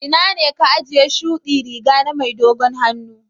Ina ne ka ajiye shuɗi Riga na mai dogon hannu?